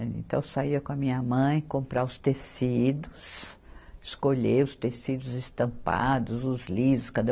Então, eu saía com a minha mãe comprar os tecidos, escolher os tecidos estampados, os lisos, cada?